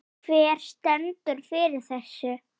Hver stendur fyrir þessu?